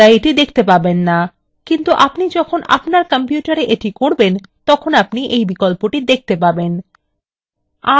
আপনি এখন পর্দায় এটি দেখতে পারবেন না কিন্তু আপনি যখন আপনার কম্পিউটারে এটি করবেন তখন আপনি you বিকল্পটি দেখতে পাবেন